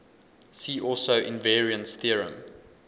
see also invariance theorem